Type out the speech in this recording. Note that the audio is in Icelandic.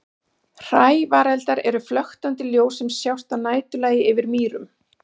Hrævareldar eru flöktandi ljós sem sjást að næturlagi yfir mýrum.